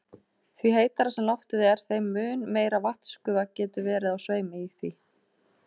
Því heitara sem loftið er, þeim mun meiri vatnsgufa getur verið á sveimi í því.